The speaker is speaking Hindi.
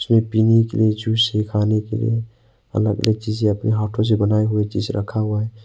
ये पीने के लिए जूस है खाने के लिए अलग अलग चीजें अपने हाथों से बनाए हुए चीज रखा हुआ है।